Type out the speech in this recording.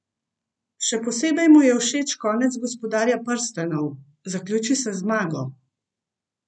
Še posebej mu je všeč konec Gospodarja prstanov: "Zaključi se z zmago.